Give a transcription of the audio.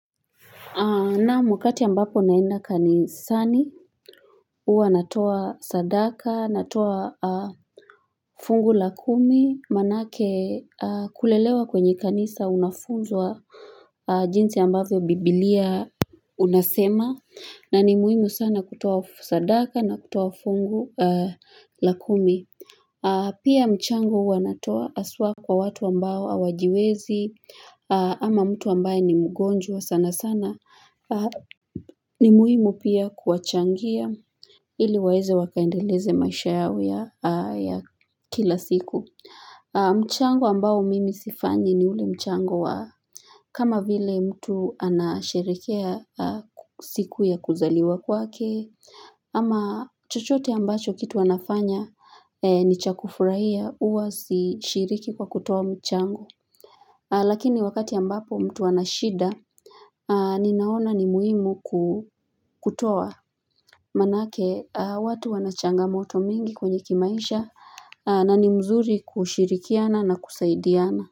Naam wakati ambapo naenda kanisani, huwa natoa sadaka, natoa fungu la kumi, maanake kulelewa kwenye kanisa unafunzwa jinsi ambavyo biblia unasema, na ni muhimu sana kutoa sadaka na kutoa fungu la kumi. Pia mchango huwa natoa haswa kwa watu ambao hawajiwezi ama mtu ambaye ni mgonjwa sana sana. Ni muhimu pia kuwachangia ili waweze wakaendeleze maisha yao ya kila siku. Mchango ambao mimi sifanyi ni ule mchango wa kama vile mtu anasherehekea siku ya kuzaliwa kwake Ama chochote ambacho kitu wanafanya ni cha kufurahia huwa sishiriki kwa kutoa mchango Lakini wakati ambapo mtu anashida ninaona ni muhimu kutoa Maanake watu wanachangamoto mingi kwenye kimaisha na ni mzuri kushirikiana na kusaidiana.